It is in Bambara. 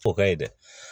O ka ye dɛ